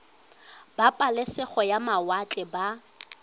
ba pabalesego ya mawatle ba